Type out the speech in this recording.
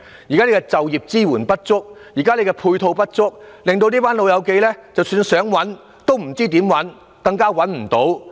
現時就業支援配套不足，令到這群"老友記"不知道怎麼找工作，亦找不到工作。